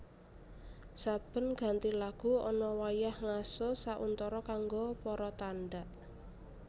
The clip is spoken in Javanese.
Saben ganti lagu ana wayah ngaso sauntara kanggo para tandhak